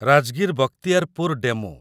Rajgir Bakhtiyarpur DEMU